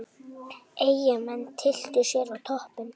Eyjamenn tylltu sér á toppinn